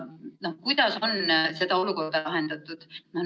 Kuidas on seda olukorda lahendatud?